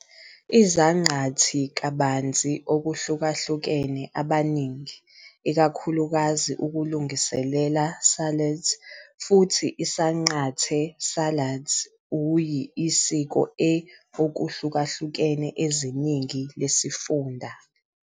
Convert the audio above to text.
Izaqathi kabanzi okuhlukahlukene abaningi, ikakhulukazi ukulungiselela salads, futhi isanqante salads Uyi isiko e okuhlukahlukene eziningi lesifunda.